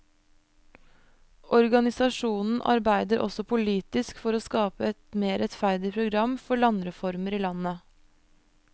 Organisasjonen arbeider også politisk for å skape et mer rettferdig program for landreformer i landet.